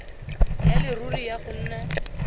ya leruri ya go nna